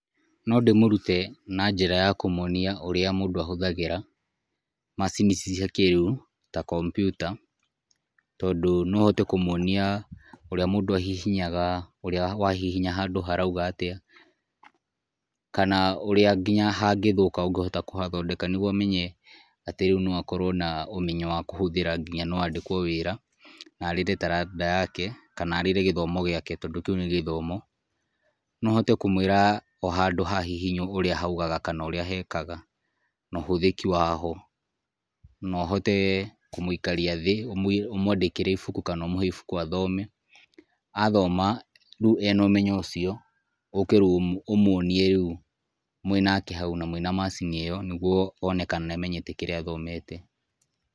No ndĩmũrũte na njĩra ya kũmũonĩa rũĩa mũndũ ahũthagĩra macini ici cia kĩrĩũ ta computer, tondũ no hote kũmũonĩa ũrĩa mũndũ ahihinyaga ũrĩa wa hihinya handũ haraĩga atĩa, kanaa rũĩa ngĩnya handũ hangĩthũka ũngĩhota kũhathondeka nĩgũo menye atĩ rĩũ no akorwo na ũmenyo wa kũhũthĩra nginya no andĩkwo wĩra na arĩre taranda yake, kana arĩre gĩthomo gĩake tondũ kĩũ nĩ gĩthomo. No hote kũmwĩra o handũ ha hihinywo ũrĩa handũ haũgaga kana ũrĩa hekaga na ũhũthĩki wa ho no ũhote kũmũikaria thĩ ũmwanĩkĩre ĩbũkũ kana ũmũhe ĩbũkũ athome, athoma agĩe na ũmenyo ũcio ũke rĩũ ũmũonĩe rĩũ mwĩnake haũ na mwĩna macini ĩyo nĩgũo wone kana nĩamenyete kĩrĩa athomete.